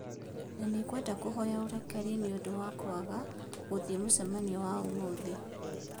na nĩ ngwenda kũhoya ũrekeri nĩ ũndũ wa kwaga gũthiĩ mũcemanio wa ũmũthĩ.